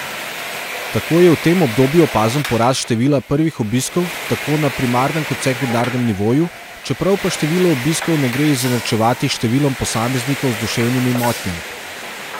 Tako je v tem obdobju opazen porast števila prvih obiskov tako na primarnem kot sekundarnem nivoju, čeprav pa število obiskov ne gre izenačevati s številom posameznikov z duševnimi motnjami.